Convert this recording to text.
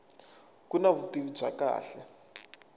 ku na vutivi bya kahle